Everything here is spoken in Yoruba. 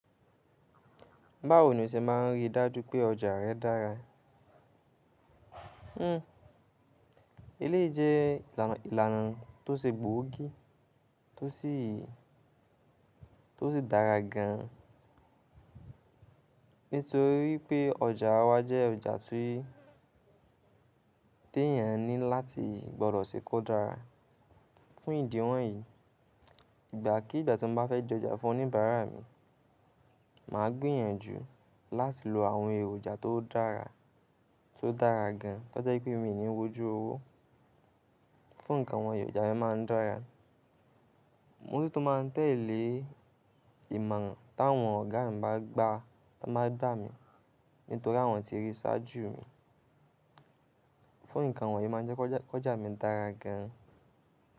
Báwo ni o ṣe máa ń rí dájú pé ọjà rẹ dára? Hmm, eléyìí jẹ́ ìlànà, ìlànà tó ṣe gbóògì tó sì dára gan, nítorí wipé ọjà wa jẹ́ ọjà tí, ti èèyàn ní láti gbọdọ̀ ṣe kó dára. Fún ìdí wọ̀nyí, ìgbà kí ìgbà tí mo bá fẹ́ di ọjà fún oníbàárà mi, mà á gbìyànjú láti lo àwọn èròjà tó dára, tó dára gan, tó jẹ́ wipé mí ò ní wójú owó fún nǹkan wọnyi, èròjà mi máa ń dára. Mo tun máa tẹ́lẹ̀ ìmọ̀ran táwọn ọ̀gá mi bá gbà, tiwọn bá gba mi, nítorí àwọn ti rí i ṣáájú mi. Fún nǹkan wọ̀nyí, o má jẹ́ kọja, jẹ́ ki ọjà mi dára gan.